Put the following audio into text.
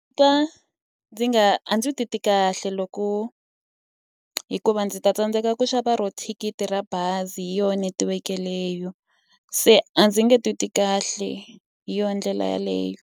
Ndzi twa ndzi nga a ndzi titwi kahle loko hikuva ndzi ta tsandzeka ku xava rona thikithi ra bazi hi yona netiweke yeleyo. Se a ndzi nge titwi kahle hi yona ndlela yeleyo.